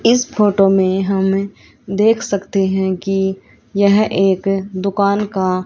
इस फोटो में हम देख सकते हैं कि यह एक दुकान का--